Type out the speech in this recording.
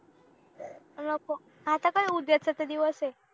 नको आता काय उद्या च तर दिवस आहे